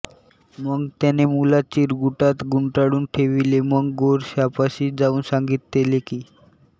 मग त्याने मुलास चिरगुटात गुंडाळून ठेविले व गोरक्षापाशी जाऊन सांगितले की